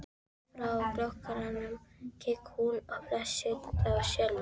Örskammt frá kolakrananum gekk hún í flasið á Selmu.